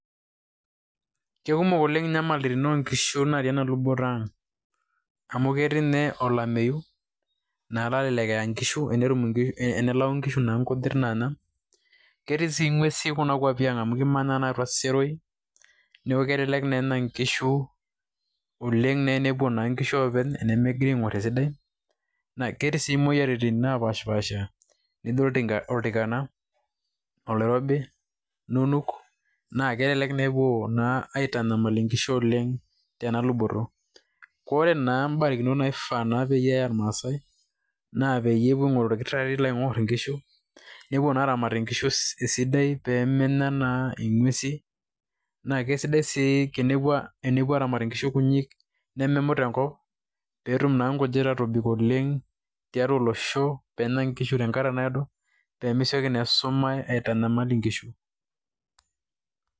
Kekumok oleng' inyamalitin onkishu natii enaluboto ang'. Amu ketii nye olameyu, na elelek eya nkishu, enelau nkishu naa nkujit naana. Ketii si ng'uesin kuna kwapi ang',amu kimanya naa atua seroi. Neeku kelelek naa enya nkishu oleng'. Na enepuo naa nkishu oopeny, enemegirai aing'or esidai, na ketii si moyiaritin napaasha nijo oltikana, oloirobi, inunuk. Na kelelek nepuo naa aitanyamal inkishu oleng' tenaluboto. Ore naa barakinot naifaa naa peyie eya irmaasai, na peyiepuo aing'oru orkitarri pe eing'or inkishu, nepuo na aramat inkishu esidai pemenya naa ing'uesin. Na kesidai si tenepuo aramat inkishu kunyik nememut enkop, petum na nkujit atobik oleng' tiatua olosho penya nkishu tenkata naado pemesioki na esumash aitanyamal inkishu.